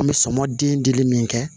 An bɛ sɔmɔ den dili min kɛ